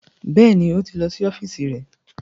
Bẹ́ẹ̀ni, ó ti lọ sí ọ́fíìsì rẹ̀